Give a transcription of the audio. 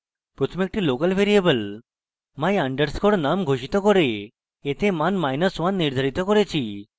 প্রথমে একটি local variable my _ num ঘোষিত করে এতে মান1 নির্ধারিত করেছি